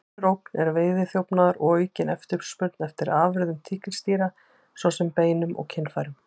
Önnur ógn er veiðiþjófnaður og aukin eftirspurn eftir afurðum tígrisdýra, svo sem beinum og kynfærum.